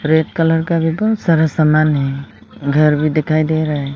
Red colour का. भी बहोत सारा सामान है घर भी दिखाई दे रहा है।